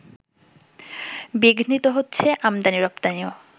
বিঘ্নিত হচ্ছে আমদানি-রপ্তানিও